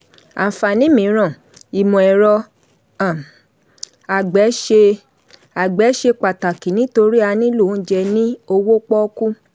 àǹfààní míràn: ìmọ̀-ẹ̀rọ um àgbẹ̀ ṣe àgbẹ̀ ṣe pàtàkì nítorí a nílò oúnjẹ ní owó pọ́ọ́kú.